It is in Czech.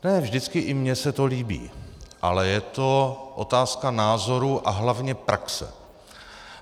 Ne vždycky i mně se to líbí, ale je to otázka názoru a hlavně praxe.